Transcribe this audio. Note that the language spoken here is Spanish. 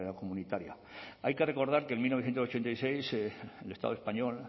comunitaria hay que recordar que en mil novecientos ochenta y seis el estado español